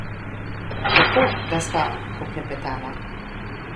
Lepo, da sva poklepetala!